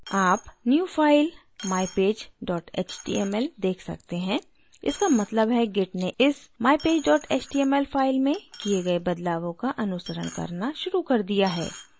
आप new file: mypage html देख सकते हैं इसका मतलब है git ने इस mypage html file में किये git बदलावों का अनुसरण करना शुरू कर दिया है